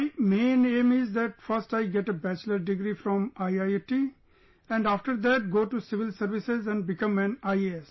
My main aim is that first I get a Bachelor Degree from IIT and after that go to Civil Services and become an IAS